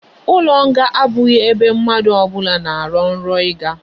Ulo nga abughi ebe mmadu obula na aro nro iga